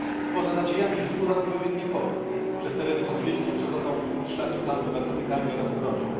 Poza nadziejami wzbudza to pewien niepokój przez tereny kurdyjskie przechodzą szlaki handlu narkotykami oraz bronią.